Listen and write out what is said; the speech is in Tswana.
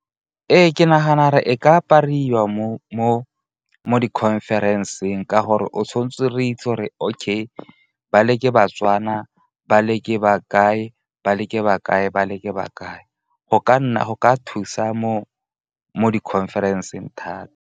Ee, ke nagana re e ka apariwa mo di-conference-eng ka gore o tshwan'tse re itse 'ore okay ba le ke ba-Tswana ba le ke bakae, ba le ke bakae, ba le ke bakae. Go ka thusa mo di-conference-eng thata.